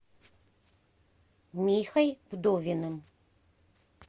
михой вдовиным